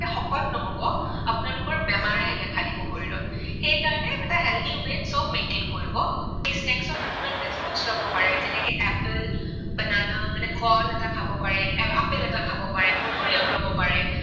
নহব আপোনালোকৰ বেমাৰেহে দেখা দিব শৰীৰত। সেইকাৰণে এটা healthy way ত চব maintain কৰিব লাগিব। সেই snacks ত আপোনালোকে fruits লব পাৰে যেনেকৈ apple, banana মানে ফল এটা খাব পাৰে। আপেল এটা খাব পাৰে। মধুৰি আম লব পাৰে।